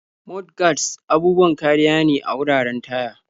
Mudguards' abubuwan kariya ne a wuraren taya.